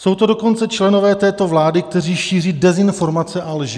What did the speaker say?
Jsou to dokonce členové této vlády, kteří šíří dezinformace a lži.